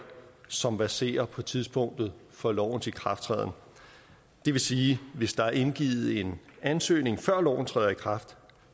som verserer på tidspunktet for lovens ikrafttræden det vil sige at hvis der er indgivet en ansøgning før loven træder i kraft